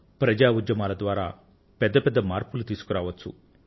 ప్రజా ఉద్యమాల ద్వారా పెద్ద పెద్ద మార్పులను తీసుకురావచ్చు